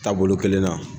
Taabolo kelen na